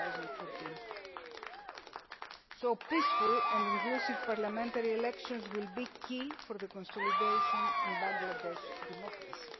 2014. Peaceful and inclusive parliamentary elections will be key for the consolidation of Bangladesh's democracy.